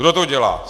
Kdo to dělá?